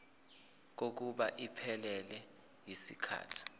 kokuba iphelele yisikhathi